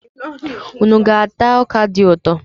Unu ga-ata ọka dị ụtọ?